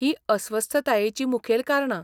हींअस्वस्थतायेचीं मुखेल कारणां.